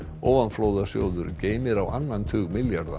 ofanflóðasjóður geymir á annan tug milljarða